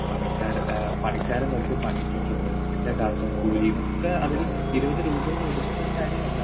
Speaker 2 പണിക്കാര് ആഹ് പണിക്കാരെ നിർത്തി പണിയിച്ചിട്ടുണ്ട് അതിൻറെ കാശും കൂലിയും ഒക്കെ ഇരുപതുരൂപയിൽ ഒതുങ്ങുന്ന കാര്യമല്ല.